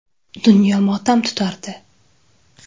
Dunyo motam tutardi.